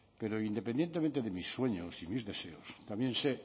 pero independientemente de mis sueños y mis deseos también sé